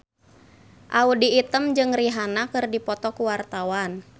Audy Item jeung Rihanna keur dipoto ku wartawan